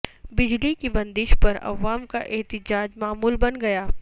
بجلی کی بندش پر عوام کا احتجاج معمول بن گیا